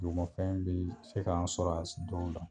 Dugumafɛn bi se ka an sɔrɔ a dɔw la.